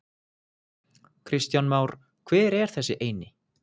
Kristján Már: Hver er þessi eini?